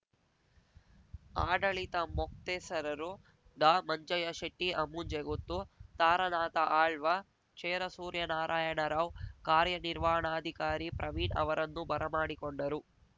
ಆಡಳಿತ ಮೊಕ್ತೇಸರರು ಡಾಮಂಜಯ್ಯ ಶೆಟ್ಟಿ ಅಮ್ಮುಂಜೆ ಗುತ್ತು ತಾರನಾಥ ಆಳ್ವ ಚೇರಸೂರ್ಯನಾರಾಯಣ ರಾವ್ ಕಾರ್ಯನಿರ್ವಾಣಾಧಿಕಾರಿ ಪ್ರವೀಣ್ ಅವರನ್ನು ಬರಮಾಡಿಕೊಂಡರು